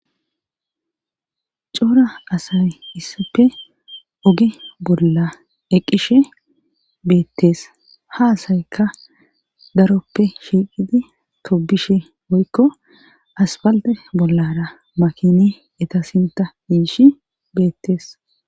coora asay issappe oge bolla eqqishe beettes ha asaykka daroppe shiiqidi tobishe woykko aspalde bollara makini eta sinta yiishi beettees